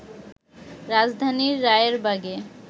রাজধানীর রায়েরবাগে